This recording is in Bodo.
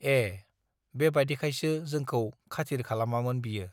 एः बेबादिखायसो जोंखौ खाथिर खालामामोन बियो